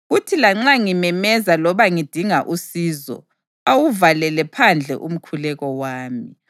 Kuthi lanxa ngimemeza loba ngidinga usizo, awuvalele phandle umkhuleko wami.